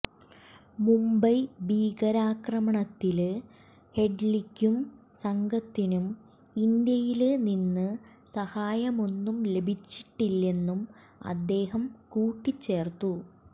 മുംബൈ ഭീകരാക്രമണത്തില് ഹെഡ്ലിക്കും സംഘത്തിനും ഇന്ത്യയില് നിന്ന് സഹായമൊന്നും ലഭിച്ചിട്ടില്ലന്നും അദ്ദേഹം കൂട്ടിച്ചേര്ത്തു